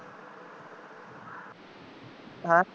ਹੈਂ